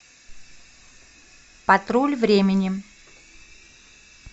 патруль времени